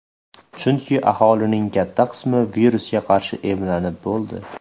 Chunki aholining katta qismi virusga qarshi emlanib bo‘ldi.